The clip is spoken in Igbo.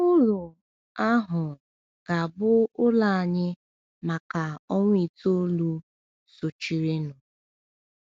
Ụlù um ahụ ga-abụ ụlọ anyị maka ọnwa itoolu sochirinụ.